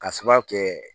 Ka sababu kɛ